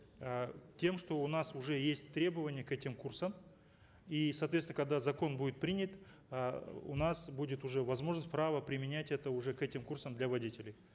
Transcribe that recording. э тем что у нас уже есть требования к этим курсам и соответственно когда закон будет принят э у нас будет уже возможность право применять это уже к этим курсам для водителей